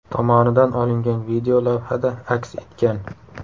tomonidan olingan video lavhada aks etgan.